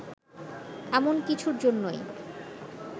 এমন কিছুর জন্যই